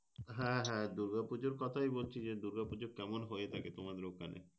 হ্যাঁ হ্যাঁ দুগা-পুজোর কথাই বলছি। যে দুর্গাপুজো কেমন হয়ে থাকে তোমাদের ওখনে?